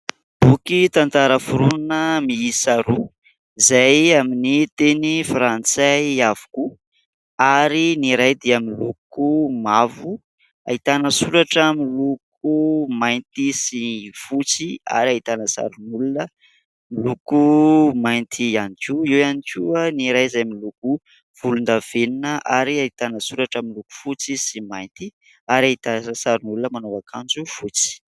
Boky tantara foronina miisa roa izay amin'ny teny frantsay avokoa ary ny iray dia miloko mavo, ahitana soratra miloko mainty sy fotsy ary ahitana sarin'olona miloko mainty ihany koa. Eo ihany koa ny iray izay miloko volondavenona ary ahitana soratra miloko fotsy sy mainty ary ahitana sarin'olona manao aknjo fotsy.